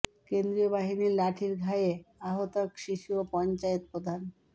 কেন্দ্রীয় বাহিনীর লাঠির ঘায়ে আহত এক শিশু ও পঞ্চায়েত প্রধান